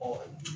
Ɔ